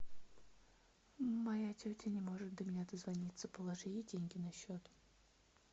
моя тетя не может до меня дозвониться положи ей деньги на счет